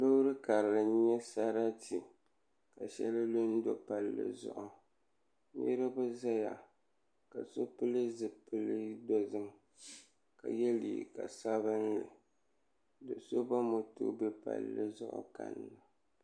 Loori kara n nyɛ sarati ka shɛli lu n do palli zuɣu niraba ʒɛya ka so pili zipili dozim ka yɛ liiga sabinli so ba moto bɛ palli zuɣu ka